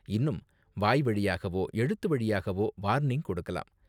இன்னும் வாய்வழியாகவோ எழுத்து வழியாகவோ வார்னிங் கொடுக்கலாம்.